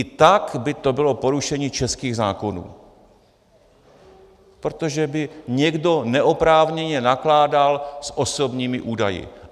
I tak by to bylo porušení českých zákonů, protože by někdo neoprávněně nakládal s osobními údaji.